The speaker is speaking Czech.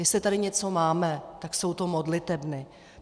Jestli tady něco máme, tak jsou to modlitebny.